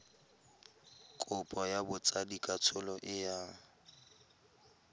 kopo ya botsadikatsholo e yang